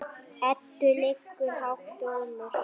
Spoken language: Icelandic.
Eddu liggur hátt rómur.